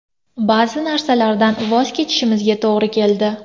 Ba’zi narsalardan voz kechishimizga to‘g‘ri keldi.